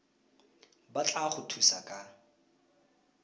ba tla go thusa ka